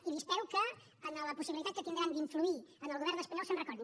i espero que en la possibilitat que tindran d’influir en el govern espanyol se’n recordin